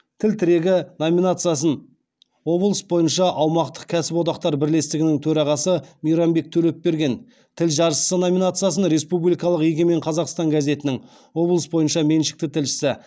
тіл тірегі номинациясын облыс бойынша аумақтық кәсіподақтар бірлестігінің төрағасы мейрамбек төлепберген тіл жаршысы номинациясын республикалық егемен қазақстан газетінің облыс бойынша меншікті тілшісі